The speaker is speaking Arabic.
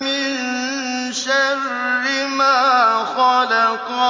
مِن شَرِّ مَا خَلَقَ